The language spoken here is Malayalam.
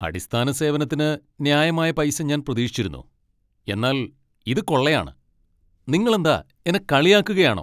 അടിസ്ഥാന സേവനത്തിന് ന്യായമായ പൈസ ഞാൻ പ്രതീക്ഷിച്ചിരുന്നു, എന്നാൽ ഇത് കൊള്ളയാണ്! നിങ്ങളെന്താ എന്നെ കളിയാക്കുകയാണോ?